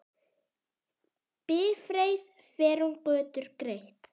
Bifreið fer um götur greitt.